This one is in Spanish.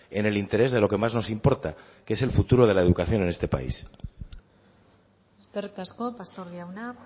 en el interés de lo que más nos importa que es el futuro de la educación en este país eskerrik asko pastor jauna